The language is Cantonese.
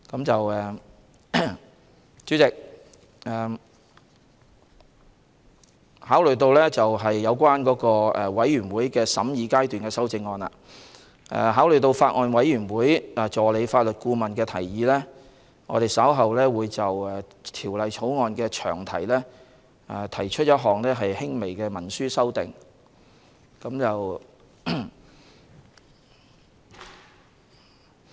主席，有關全體委員會審議階段修正案，考慮到法案委員會的法律顧問的提議，我們稍後會就《條例草案》的詳題提出一項輕微行文修訂。